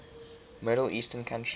middle eastern countries